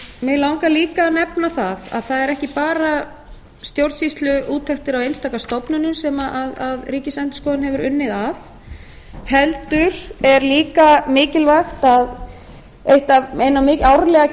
mig langar líka að nefna að það eru ekki bara stjórnsýsluúttektir á einstaka stofnunum sem ríkisendurskoðun hefur unnið að heldur er líka mikilvægt árlega